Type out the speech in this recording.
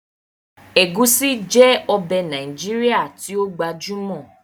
Ẹ̀gúsí jẹ́ ọbẹ̀ Nàìjíríà tí ó gbajúmọ̀